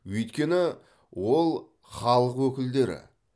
өйткені ол халық өкілдері